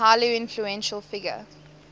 highly influential figure